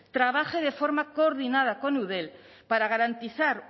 trabaje de forma coordinada con eudel para garantizar